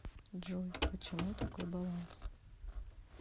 джой почему такой баланс